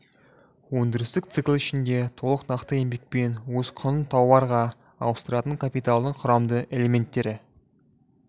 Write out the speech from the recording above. өндірістік цикл ішінде толық нақты еңбекпен өз құнын тауарға ауыстыратын капиталдың құрамды элементтері